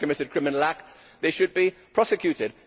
If they have committed criminal acts they should be prosecuted.